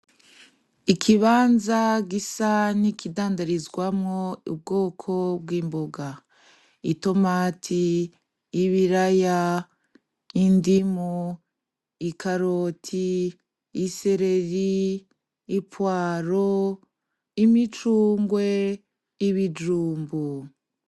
Ikibanza gisa n'ikidandarizwamwo ubwoko bw'imboga; itomati, ibiraya, indimu, ikaroti, isereri, ipuwaro, imicungwe, ibijumbu.